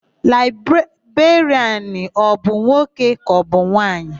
Laịberịanụ ọ bụ nwoke kaọbụ nwaanyị?